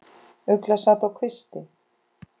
Ugla sat á kvisti.